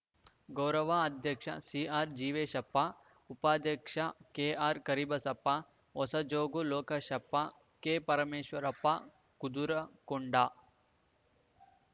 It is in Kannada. ಗೌರವ ಅಧ್ಯಕ್ಷ ಸಿಆರ್‌ ಜೀವೇಶಪ್ಪ ಉಪಾಧ್ಯಕ್ಷ ಕೆಆರ್‌ ಕರಿಬಸಪ್ಪ ಹೊಸಜೋಗ ಲೋಕೇಶಪ್ಪ ಕೆಪರಮೇಶ್ವರಪ್ಪ ಕುದರ ಕೊಂಡ